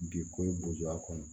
Bi ko ye bozoya kɔnɔ